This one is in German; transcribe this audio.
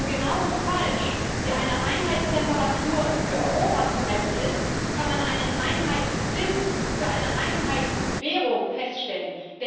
Denn genau so wenig, wie man eine Einheitstemperatur für Europa messen kann, kann man einen Einheitszins für eine Einheitswährung feststellen.